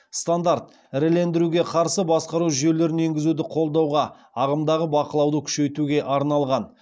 стандарт ірілендіруге қарсы басқару жүйелерін енгізуді қолдауға ағымдағы бақылауды күшейтуге арналған